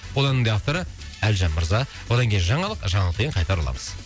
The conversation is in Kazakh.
ол әннің де авторы әлжан мырза одан кейін жаңалық жаңалықтан кейін қайта ораламыз